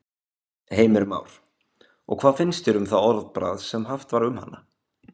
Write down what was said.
Heimir Már: Og hvað finnst þér um það orðbragð sem haft var um hana?